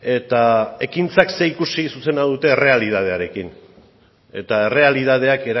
eta ekintzak ze ikusi zuzena duten errealitatearekin eta errealitateak